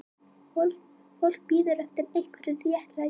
Fólk bíður eftir einhverju réttlæti